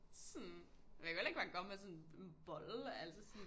Sådan man kan jo heller ikke bare komme med sådan en bolle altså sådan